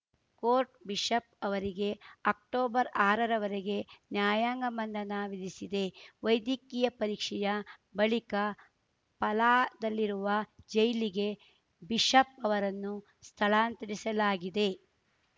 court bishop ಅವರಿಗೆ ಅಕ್ಟೊಬರ್ಆರರ ವರೆಗೆ ನ್ಯಾಯಾಂಗ ಬಂಧನ ವಿಧಿಸಿದೆ ವೈದ್ಯಕೀಯ ಪರೀಕ್ಷೆಯ ಬಳಿಕ ಪಲಾದಲ್ಲಿರುವ ಜೈಲಿಗೆ ಬಿಷಪ್‌ ಅವರನ್ನು ಸ್ಥಳಾಂತರಿಸಲಾಗಿದೆ